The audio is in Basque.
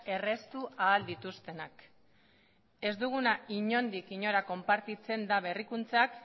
erraztu ahal dituztenak ez dugunak inondik inora konpartitzen da berrikuntzak